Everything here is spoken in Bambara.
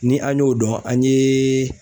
Ni an y'o dɔn an ye